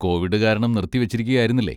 Covid കാരണം നിർത്തിവെച്ചിരിക്കുകയായിരുന്നില്ലേ?